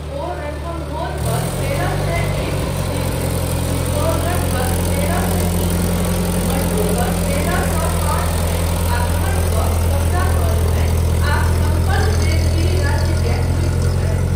ओ रणथम्भोर पर तेरह सए एक ईस्वी मे, चितोरगढ़ पर तेरह सए तीन मे, मंडू पर तेरह सए पाँच मे आक्रमण कऽ कब्ज़ा कऽ लेलनि आ सम्पन्न देवगिरी राज्यकेँ लूटि लेलनि।